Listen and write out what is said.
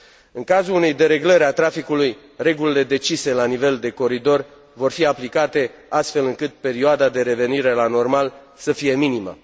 În cazul unei dereglări a traficului, regulile decise la nivel de coridor vor fi aplicate astfel încât perioada pentru revenirea la normal să fie minimă.